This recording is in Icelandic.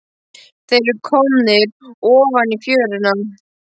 Þeir eru komnir ofan í fjöruna.